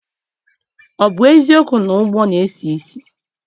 O bu eziokwu na ugba na-esi isi?